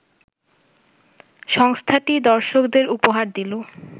সংস্থাটি দর্শকদের উপহার দিল